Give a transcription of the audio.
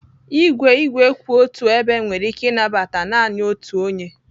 Igwe igwe kwụ otu ebe nwere ike ịnabata naanị otu onye